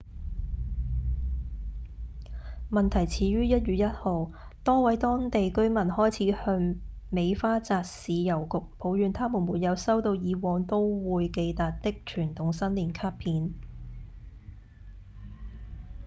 問題始於1月1號多位當地居民開始向尾花澤市郵局抱怨他們沒有收到以往都會寄達的傳統新年卡片